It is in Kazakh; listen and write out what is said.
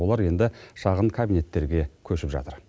олар енді шағын кабинеттерге көшіп жатыр